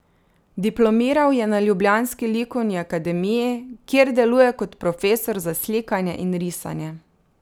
Diplomiral je na ljubljanski likovni akademiji, kjer deluje kot profesor za slikanje in risanje.